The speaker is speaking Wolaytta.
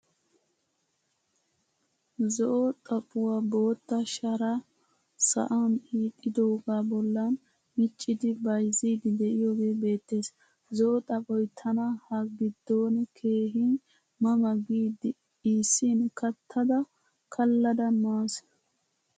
Zo'o xaphphuwaa bootta shara sa'an hiixidoga bollan miccidi bayzzidi de'iyoge beettees. Zo'o xaphphoy tana ha giddon keehin ma ma giidi iisin kattada kallada maasi.